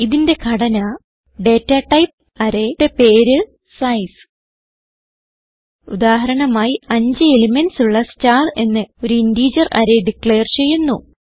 ഇതിന്റെ ഘടന data type array യുടെ പേര് സൈസ് ഉദാഹരണമായി 5 എലിമെന്റ്സ് ഉള്ള സ്റ്റാർ എന്ന ഒരു ഇന്റഗർ അറേ ഡിക്ലയർ ചെയ്യുന്നു